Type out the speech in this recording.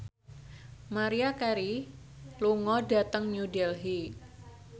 Maria Carey lunga dhateng New Delhi